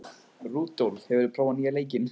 Rúdólf, hefur þú prófað nýja leikinn?